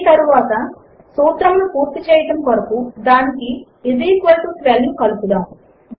ఆ తరువాత సూత్రమును పూర్తి చేయడము కొరకు దానికి ఐఎస్ ఈక్వల్ టో 12 ను కలుపుదాము